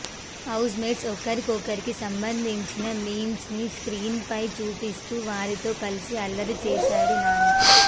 house mates ఒక్కొక్కరికి సంబంధించిన memes ని స్క్రీన్ పై చూపిస్తూ వారితో కలిసి అల్లరి చేశాడు నాని